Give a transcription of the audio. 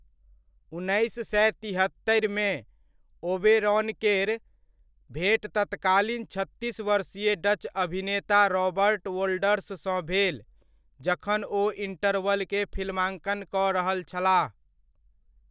उन्नैस सए तिहत्तरिमे, ओबेरॉनकेर भेँट तत्कालीन छत्तीस वर्षीय डच अभिनेता रॉबर्ट वोल्डर्ससँ भेल, जखन ओ इण्टरवल के फिल्माङ्कन कऽ रहल छलाह।